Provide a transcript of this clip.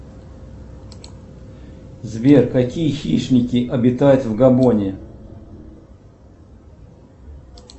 сбер какие хищники обитают в габоне